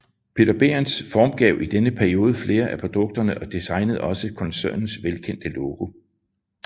Peter Behrens formgav i denne periode flere af produkterne og designede også koncernens velkendte logo